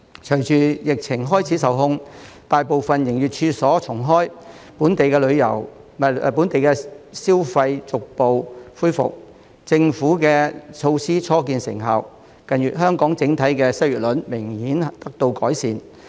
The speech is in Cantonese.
隨着疫情開始受控，大部分營業處所重開，本地消費逐步恢復，政府的措施初見成效，近月香港整體的失業率明顯得到改善。